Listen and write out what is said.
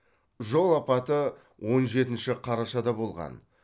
жол апаты он жетінші қарашада болған